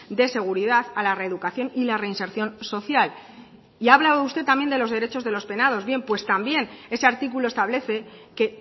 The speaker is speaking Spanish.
de seguridad a la reeducación y la reinserción social y ha hablado usted también de los derechos de los penados bien pues también ese artículo establece que